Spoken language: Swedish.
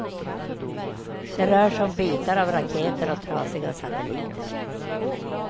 Det rör sig om bitar av raketer och trasiga satelliter.